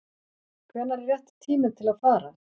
Hvenær er rétti tíminn til að fara?